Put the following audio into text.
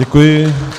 Děkuji.